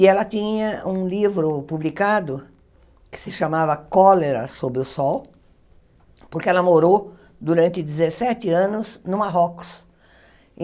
E ela tinha um livro publicado que se chamava Cólera sobre o Sol, porque ela morou durante dezessete anos no Marrocos.